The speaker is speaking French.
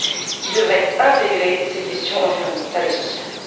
qui devraient intégrer ces questions environnementales et sociales.